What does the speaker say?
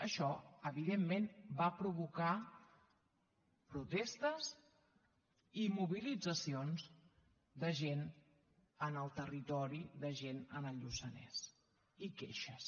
això evidentment va provocar protestes i mobilitzacions de gent en el territori de gent en el lluçanès i queixes